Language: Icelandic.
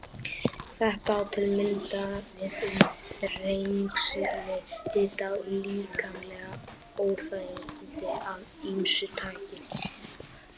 Þetta á til að mynda við um þrengsli, hita og líkamleg óþægindi af ýmsu tagi.